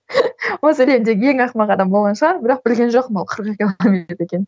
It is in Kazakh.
осы әлемдегі ең ақымақ адам болған шығармын бірақ білген жоқпын ол қырық екі километр екенін